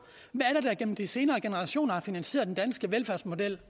hvad gennem de senere generationer har finansieret den danske velfærdsmodel